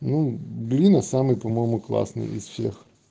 ну лина самый по-моему классный из всех